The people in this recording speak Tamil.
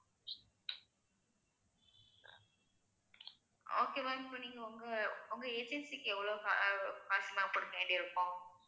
okay ma'am இப்ப நீங்க உங்க உங்க agency க்கு எவ்ளோ கா~ காசு ma'am கொடுக்க வேண்டி இருக்கும்